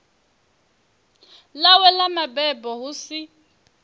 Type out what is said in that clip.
ḽawe ḽa mabebo hu si